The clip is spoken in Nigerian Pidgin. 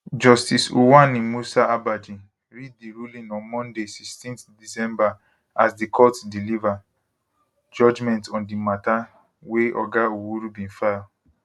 justice uwani musa abaaji read di ruling on monday 16 december as di court deliver judgement on di mata wey oga owuru bin file